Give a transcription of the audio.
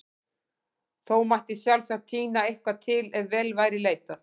Þó mætti sjálfsagt tína eitthvað til ef vel væri leitað.